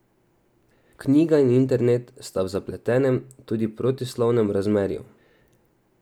Knjiga in internet sta v zapletenem, tudi protislovnem razmerju.